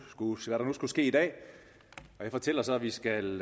skulle ske i dag jeg fortæller så at vi skal